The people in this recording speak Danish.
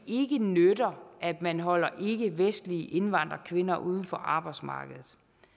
ikke nytter at man holder ikkevestlige indvandrerkvinder uden for arbejdsmarkedet